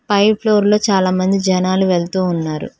పై floor లో చాలామంది జనాలు వెళుతూ ఉన్నారు.